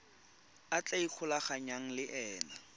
a tla ikgolaganyang le ena